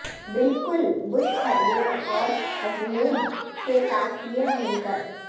بالکل بش پھلیاں اور اجمود کے ساتھ یہ مل کر